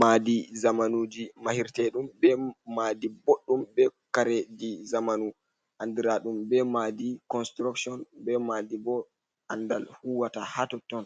Madi zamanuji mahirte ɗum be Madi bodɗum.be Kareji zamanu. Andiradum be Madi konsturakshon.Be madi bo andal huwata ha totton,